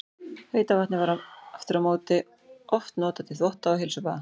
Heita vatnið var aftur á móti oft notað til þvotta og heilsubaða.